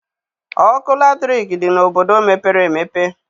Ọkụ latriki dị n'obodo mepere emepe.